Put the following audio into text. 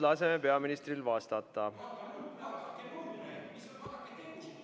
Laseme peaministril vastata!